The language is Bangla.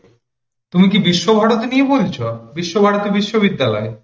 তুমি কি বিশ্বভারতী নিয়ে পড়েছ? বিশ্বভারতী বিশ্ববিদ্যালয়,